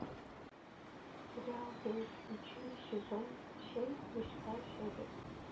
сериал время приключений сезон семь восьмая серия